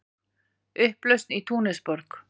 Upplausn í Túnisborg